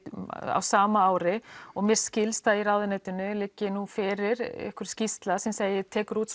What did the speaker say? á sama ári og mér skilst að í ráðuneytinu liggi nú fyrir einhver skýrsla sem tekur út